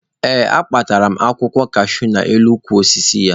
Ee, akpachara m akwụkwọ kashuu nọ n'elu ukwu osisi ya.